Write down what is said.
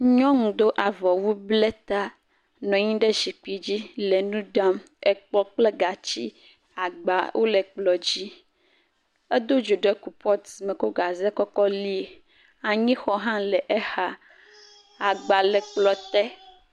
Nyɔnu do avɔwu blɛ ta nɔ anyi ɖe zikpi dzi le nu dam. Ekplɔ̃ kple gatsi agba wole kplɔ̃ dzi. Edo dzo ɖe kropɔtu me kɔ gaze kɔ kɔ lie. Anyixɔ hã le exa. Agba le kplɔ̃ te.